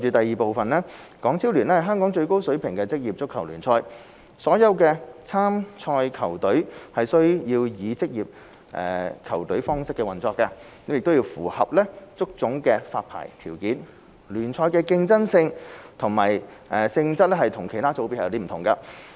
二港超聯是香港最高水平的職業足球聯賽，所有參賽球隊須以職業球隊方式運作，並須符合足總的發牌條件，聯賽的競爭性及性質與其他組別不同。